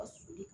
Ka sulu